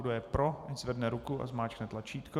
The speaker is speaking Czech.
Kdo je pro, ať zvedne ruku a zmáčkne tlačítko.